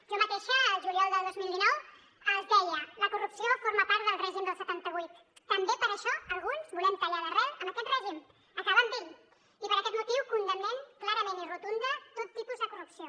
jo mateixa el juliol del dos mil dinou els deia la corrupció forma part del règim del setanta vuit també per això alguns volem tallar d’arrel amb aquest règim acabar amb ell i per aquest motiu condemnen clarament i rotunda tot tipus de corrupció